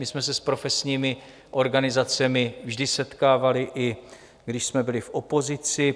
My jsme se s profesními organizacemi vždy setkávali, i když jsme byli v opozici.